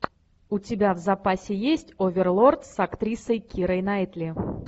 у тебя в запасе есть оверлорд с актрисой кирой найтли